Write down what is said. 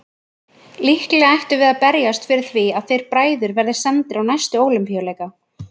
Líklega ættum við að berjast fyrir því að þeir bræður verði sendir á næstu Ólympíuleika!